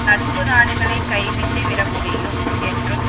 நட்பு நாடுகளை கைவிட்டு விட முடியும் என்றும்